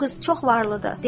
O qız çox varlıdır,